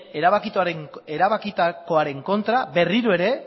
erabakitakoaren kontra berriro ere